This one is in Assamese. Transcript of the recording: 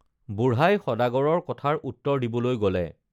বুঢ়াই সদাগৰৰ কথাৰ উত্তৰ দিবলৈ গলে